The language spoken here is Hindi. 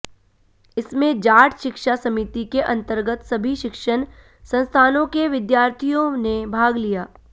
इसमें जाट शिक्षा समिति के अंतर्गत सभी शिक्षण संस्थानों के विद्यार्थियों ने भाग लिया